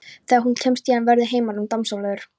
Þegar hún kemst héðan verður heimurinn dásamlegur.